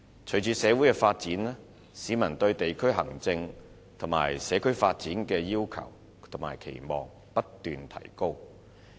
隨着社會發展，市民對地區行政及社區發展的要求及期望不斷提高。